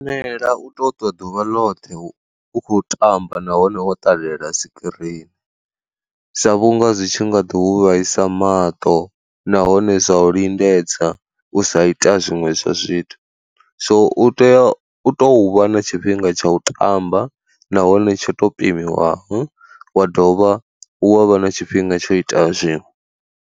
La u to ṱwa ḓuvha ḽoṱhe u u kho tamba nahone wo ṱalela sikirini, sa vhunga zwi tshi nga ḓo u vhaisa maṱo nahone zwa u lindedza u sa ita zwiṅwe zwa zwithu. So u tea u tou vha na tshifhinga tsha u tamba nahone tsho to pimiwaho wa dovha wa vha na tshifhinga tsho ita zwiṅwe.